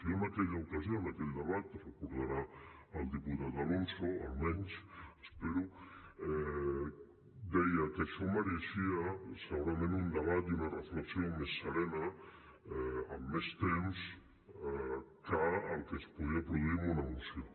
jo en aquella ocasió en aquell debat ho deu recordar el diputat alonso almenys ho espero deia que això mereixia segurament un debat i una reflexió més serena amb més temps que el que es podia produir amb una moció